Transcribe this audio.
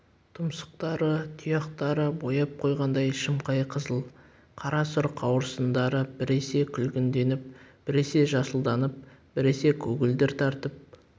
тұмсықтары тұяқтары бояп қойғандай шымқай қызыл қара сұр қауырсындары біресе күлгінденіп біресе жасылданып біресе көгілдір тартып